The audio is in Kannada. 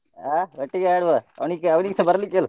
ಆ ಒಟ್ಟಿಗೆ ಆಡುವ ಅವನಿಗೆ~ ಅವನಿಗೆಸ ಬರ್ಲಿಕ್ ಹೇಳು.